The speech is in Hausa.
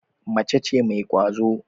Mace ce mai kwazo.